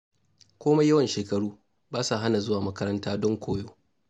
Komai yawan shekaru, ba sa hana zuwa makaranta don koyo.